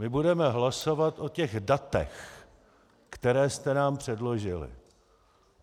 My budeme hlasovat o těch datech, která jste nám předložili.